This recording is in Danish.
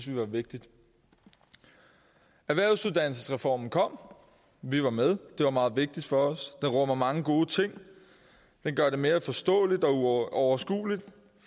vi var vigtigt erhvervsuddannelsesreformen kom vi var med det var meget vigtigt for os den rummer mange gode ting den gør det mere forståeligt og overskueligt